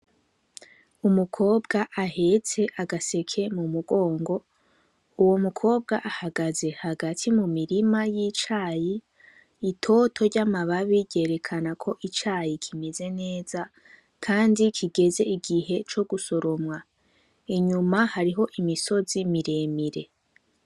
Umukobwa ahetse agaseke mumugongo, uwo mukobwa ahagaze hagati mumirirma y'icayi, itoto ryamababi ryerekana ko icayi kimeze neza kandi kigeze igihe co gusoromwa. Inyuma hariho imisozi miremire.